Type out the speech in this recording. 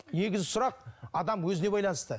негізгі сұрақ адам өзіне байланысты